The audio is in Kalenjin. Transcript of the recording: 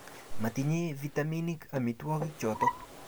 matinye vitaminik amitwogik choto